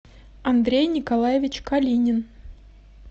андрей николаевич калинин